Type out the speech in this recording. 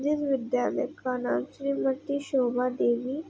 जिस विद्यालय का नाम श्रीमती शोभा देवी --